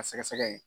A sɛgɛsɛgɛ ye